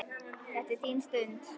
Þetta er þín stund.